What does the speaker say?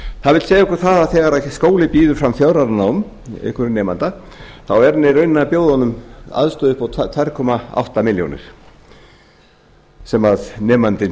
það vill segja okkur það að þegar skóli býður fram fjögurra ára nám einhverjum nemanda þá er hann í rauninni að bjóða honum aðstöðu upp á tvö komma átta milljónir sem nemandinn